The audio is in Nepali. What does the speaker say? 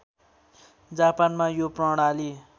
जापानमा यो प्रणाली